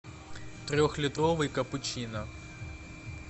трехлитровый капучино